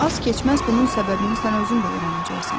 Az keçməz bunun səbəbini sən özün də öyrənəcəksən.